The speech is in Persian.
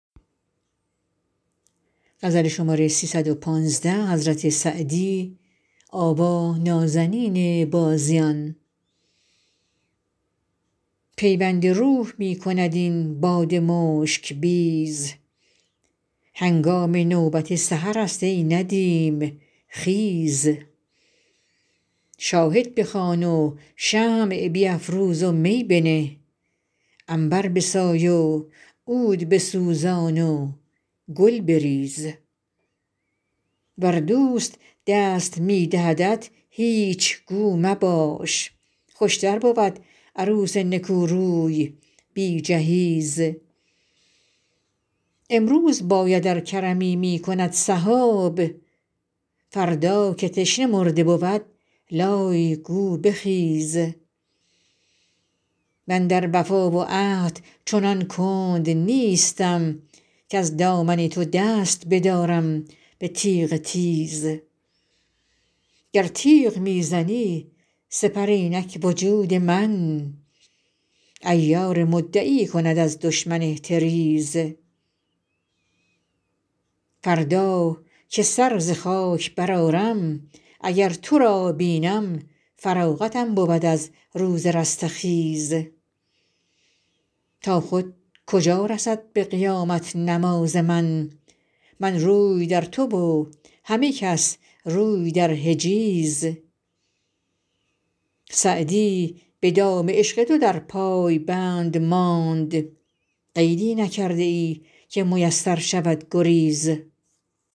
پیوند روح می کند این باد مشک بیز هنگام نوبت سحرست ای ندیم خیز شاهد بخوان و شمع بیفروز و می بنه عنبر بسای و عود بسوزان و گل بریز ور دوست دست می دهدت هیچ گو مباش خوشتر بود عروس نکوروی بی جهیز امروز باید ار کرمی می کند سحاب فردا که تشنه مرده بود لای گو بخیز من در وفا و عهد چنان کند نیستم کز دامن تو دست بدارم به تیغ تیز گر تیغ می زنی سپر اینک وجود من عیار مدعی کند از دشمن احتریز فردا که سر ز خاک برآرم اگر تو را بینم فراغتم بود از روز رستخیز تا خود کجا رسد به قیامت نماز من من روی در تو و همه کس روی در حجیز سعدی به دام عشق تو در پای بند ماند قیدی نکرده ای که میسر شود گریز